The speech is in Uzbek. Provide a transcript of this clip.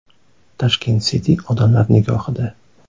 Tashkent City odamlar nigohida.